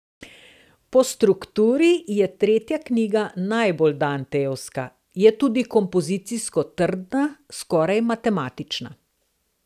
Po strukturi je tretja knjiga najbolj dantejevska, je tudi kompozicijsko trdna, skoraj matematična.